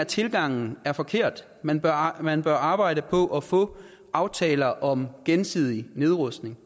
tilgangen er forkert man bør man bør arbejde på at få aftaler om gensidig nedrustning